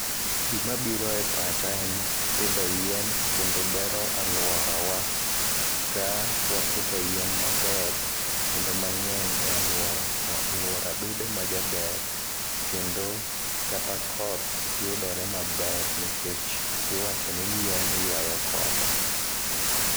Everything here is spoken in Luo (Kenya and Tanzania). Gima biro e pacha en pidho yien, kendo bero alworawa. Ka wapidho yien maber, kendo mangény e alwora, to alwora bedo ma jaber, kendo kata koth yudore maber, nikech iwacho ni yien ywayo koth.